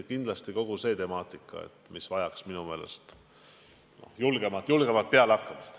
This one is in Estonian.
Kogu selle temaatika lahkamine vajaks minu meelest julgemat pealehakkamist.